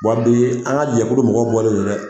ka jɛkulu mɔgɔ bɔlen do dɛ.